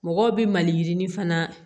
Mɔgɔw bi mali yirini fana